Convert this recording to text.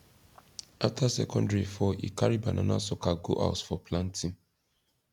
after second rain fall he carry banana sucker go house for planting